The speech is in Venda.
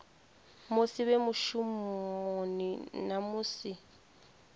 musi vhe mushumoni na musi